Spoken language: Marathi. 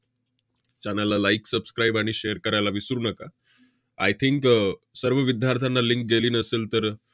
channel ला like subscribe आणि share करायला विसरू नका. I think अह सर्व विद्यार्थ्यांना link गेली नसेल तर,